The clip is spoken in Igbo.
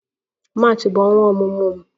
March bụ ọnwa ọmụmụ m